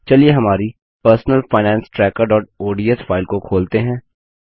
चलिए हमारी personal finance trackerओडीएस फाइल को खोलते हैं